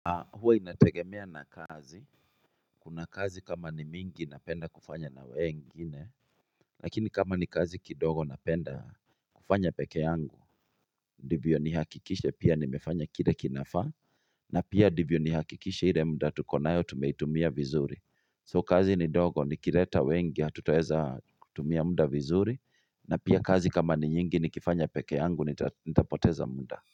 Ha huwa inategemea na kazi, kuna kazi kama ni mingi napenda kufanya na wengine Lakini kama ni kazi kidogo napenda kufanya peke yangu Ndivyo nihakikishe pia nimefanya kire kinafaa na pia ndivyo ni hakikishe ire muda tukonayo tumeitumia vizuri So kazi ni ndogo ni kireta wengi hatutoweza kutumia muda vizuri na pia kazi kama ni nyingi ni kifanya peke yangu nitapoteza muda.